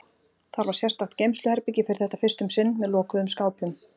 Þar var sérstakt geymsluherbergi fyrir þetta fyrst um sinn, með lokuðum skápum.